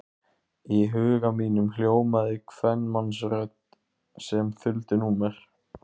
Í huga mínum hljómaði kvenmannsrödd sem þuldi númer.